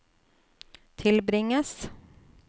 tilbringes